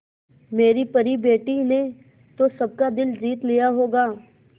मेरी परी बेटी ने तो सबका दिल जीत लिया होगा